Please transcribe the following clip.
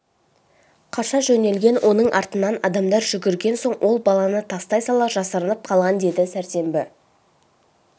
қаша жөнелген оның артынан адамдар жүгірген соң ол баланы тастай сала жасырынып қалған деді сәрсенбі